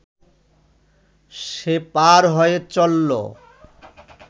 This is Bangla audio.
সে পার হয়ে চলল